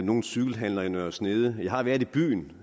nogen cykelhandler i nørre snede jeg har været i byen